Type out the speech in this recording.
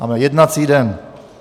Máme jednací den.